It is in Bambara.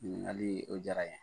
Ŋiniŋalii, o diyara ɲɛ.